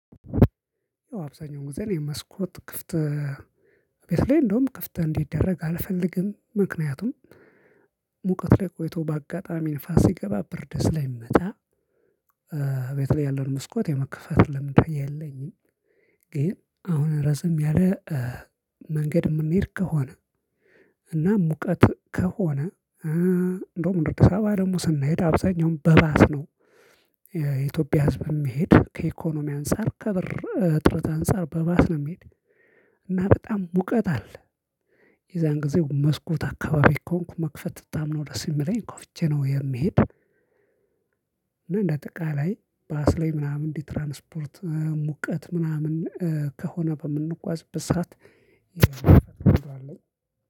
አብዛኛውን ጊዜ እኔ መስኮት ክፍት ቤለይ እንደውም ክፍት እንዲድደረግ አልፈልግም ምክንያቱም ሙቀት ላይ ቆይቶ በአጋጣሚ ንፋስ ስገባ ብርድ ስለ ምመታ። በተለይ ያለውን መስኮት የመክፋት ለምዱ የለኝም። ግን አሁን ረዘም ያለ መንገድ የምንሄድ ከሆነ እና ሙቀት ከሆነ እንደውም ወደ አዲሳባ ደግሞ ስንሄድ አብዛኛውን በባስ ነው። የኢትዮጵያ ህዝብ የሚሄድ ከኢኮኖሚ አንፃር ከብር እጥረት አንፃር በባስ ነው የሚሄድ። እና በጣም ሙቀት አለ። የዛን ጊዜ መስኮት አካባቢ ከሆንኩ መክፈት በጣም ነው ደስ ምለኝ ከፍቼ ነው የምሄድ እና። እንደ አተቃላይ ባስ ላይ ምናምን እንዲህ ትራንስፖርት ሙቀት ምናምን ከሆነ በምንጓዝበት ሰዓት